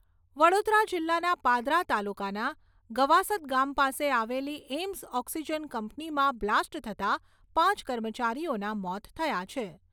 વડોદરા જિલ્લાના પાદરા તાલુકાના ગવાસદ ગામ પાસે આવેલી એમ્સ ઓક્સિજન કંપનીમાં બ્લાસ્ટ થતાં પાંચ કર્મચારીઓના મોત થયા છે.